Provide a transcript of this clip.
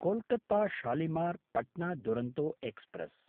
Kolkata शालिमार्–पट्ना Duronto express